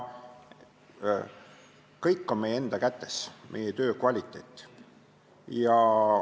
Kõik on meie enda kätes, ka meie töö kvaliteet.